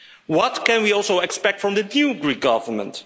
What can we also expect from the new Greek Government?